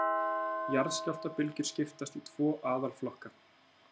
Jarðskjálftabylgjur skiptast í tvo aðalflokka.